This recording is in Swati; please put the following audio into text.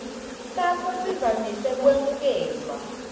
sakho sivamise kwemukelwa